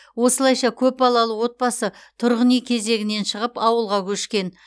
осылайша көпбалалы отбасы тұрғын үй кезегінен шығып ауылға көшкен